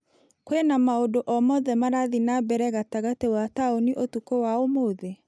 Kwĩna maũndũ o mothe marathiĩ na mbere gatagate wa taũni ũtukũ wa ũmũthĩ ?